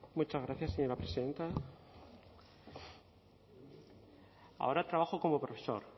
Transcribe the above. muchas gracias señora presidenta ahora trabajo como profesor